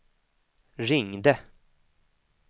ringde